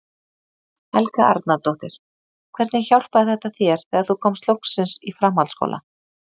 Helga Arnardóttir: Hvernig hjálpaði þetta þér þegar þú komst loksins í framhaldsskóla?